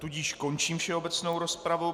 Tudíž končím všeobecnou rozpravu.